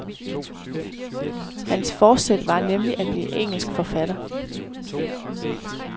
Hans forsæt var nemlig at blive engelsk forfatter.